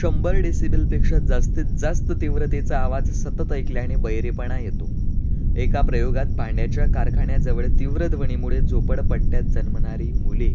शंभर decibel पेक्षा जास्तीत जास्त तीव्रतेचा आवाज सतत ऐकल्याने बहिरेपणा येतो. एका प्रयोगात भांड्याच्या कारखान्याजवळ तीव्र ध्वनीमुळे झोपडपट्ट्यात जन्मणारी मुले